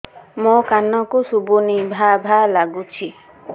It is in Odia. ମୋ କାନକୁ ଶୁଭୁନି ଭା ଭା ଲାଗୁଚି